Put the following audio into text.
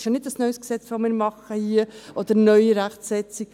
Das ist kein neues Gesetz, das wir hier machen, oder eine neue Rechtsetzung.